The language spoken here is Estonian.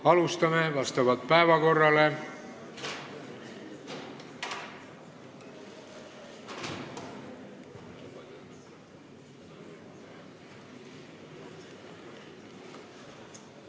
Alustame vastavalt päevakorrale.